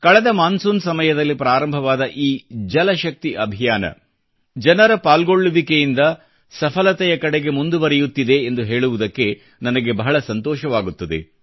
ಕಳೆದ ಮಾನ್ಸೂನ್ ಸಮಯದಲ್ಲಿ ಪ್ರಾರಂಭವಾದ ಈ ಜಲಶಕ್ತಿ ಅಭಿಯಾನ ಜನರ ಪಾಲ್ಗೊಳ್ಳುವಿಕೆಯಿಚಿದ ಸಫಲತೆಯ ಕಡೆಗೆ ಮುಂದುವರೆಯುತ್ತಿದೆ ಎಂದು ಹೇಳುವುದಕ್ಕೆ ನನಗೆ ಬಹಳ ಸಂತೋಷವಾಗುತ್ತದೆ